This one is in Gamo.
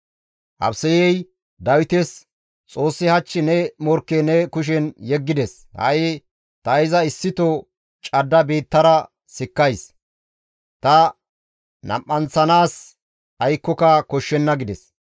Abisayey Dawites, «Xoossi hach ne morkke ne kushen yeggides; ha7i ta iza issito cadda biittara sikkays; ta nam7anththanaas aykkoka koshshenna» gides.